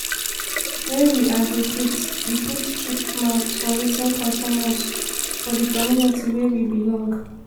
when we advocate we fot chook mouth for wetin concern us for di community wey we belong